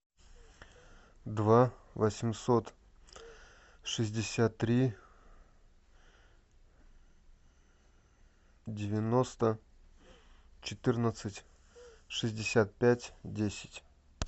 два восемьсот шестьдесят три девяносто четырнадцать шестьдесят пять десять